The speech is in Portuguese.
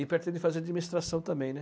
E pretende fazer administração também, né?